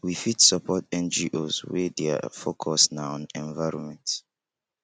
we fit support ngos wey their focus na on environment